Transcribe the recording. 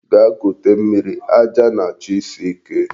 Gaa kute mmiri, aja na-chọ isi ike.